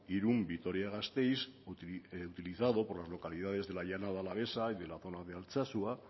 irún vitoria gasteiz utilizado por las localidades de la llanada alavesa y de la zona de altsasu